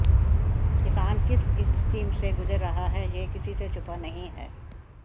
किसान किस स्थिति से गुजर रहा है यह किसी से छुपा नहीं है